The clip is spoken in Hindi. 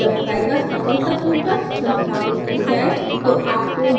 एक बार जब ड्राईवर सफलतापूर्वक संस्थापित हो जाये